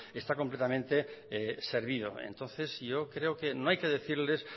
está completamente servido entonces yo creo que no hay que decirles